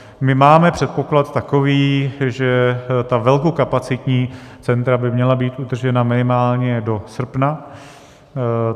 My máme předpoklad takový, že ta velkokapacitní centra by měla být udržena minimálně do srpna.